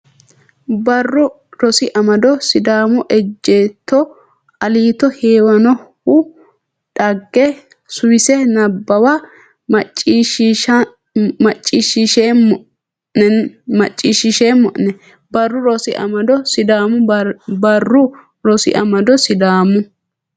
Barru Rosi Amado Sidaamu ejjeetto Aliito Heewanohu dhagge Suwise Nabbawa macciishshiisheemmo ne Barru Rosi Amado Sidaamu Barru Rosi Amado Sidaamu.